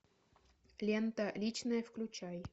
лента личное включай